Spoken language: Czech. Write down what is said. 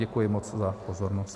Děkuji moc za pozornost.